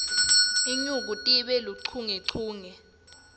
inyuku time luchungechunge